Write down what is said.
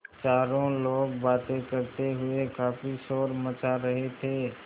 चारों लोग बातें करते हुए काफ़ी शोर मचा रहे थे